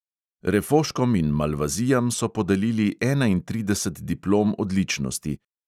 Refoškom in malvazijam so podelili enaintrideset diplom odličnosti.